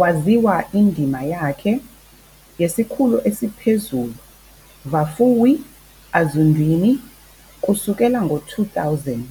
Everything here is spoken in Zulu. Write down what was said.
Waziwa indima yakhe yesiKhulu esiPhezulu Vhafuwi Azwindini kusukela 2000,